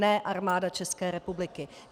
Ne Armáda České republiky!